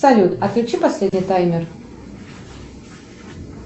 салют отключи последний таймер